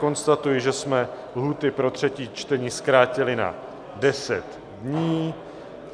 Konstatuji, že jsme lhůty pro třetí čtení zkrátili na 10 dní.